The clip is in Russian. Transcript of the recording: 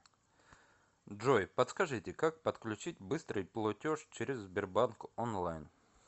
джой подскажите как подключить быстрый плотеж через сбербанк онлайн